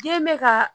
Den bɛ ka